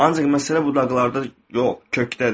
Ancaq məsələ budaqlarda yox, kökdədir.